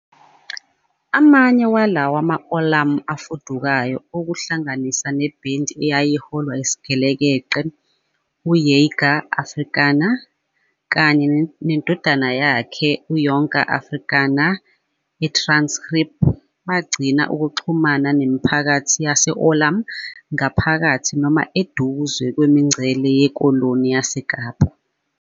Amanye walawa ma-Oorlam afudukayo, okuhlanganisa nebhendi eyayiholwa isigelekeqe u-Jager Afrikaner kanye nendodana yakhe u-Jonker Afrikaner eTransgariep, bagcine ukuxhumana nemiphakathi yase-Oorlam ngaphakathi noma eduze kwemingcele yeKoloni YaseKapa.